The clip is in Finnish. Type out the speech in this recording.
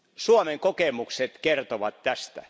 Suomen kokemukset kertovat tästä.